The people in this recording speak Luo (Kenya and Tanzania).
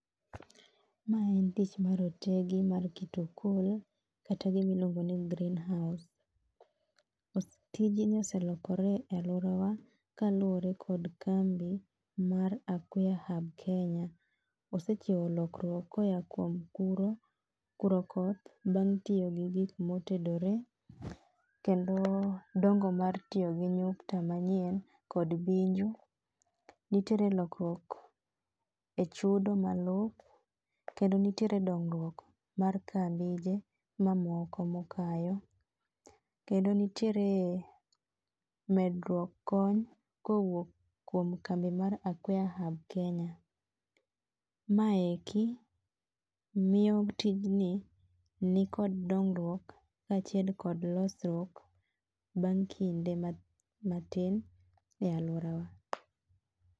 Mae en tich mar otegi mar keto okol kata gima iluongo ni green house . Tijni oselokore e aluorawa kaluwore kod kambi mar Acquaherb Kenya. Osekelo lokruok koa kuom kuro kurokoth mitiyo gi gik motedore, kendo dongo mar tiyo gi nyukta manyien kod binju. Nitiere lokruok echudo malop kendo nitiere dongruok mar kambije mokayo. Kendo nitiere medruok kony kowuok kuom kambi mar Aquaherb Kenya. Maeki miyo tijni nikod dongruok kaachiel kod losruok bang' kinde matin e aluorawa.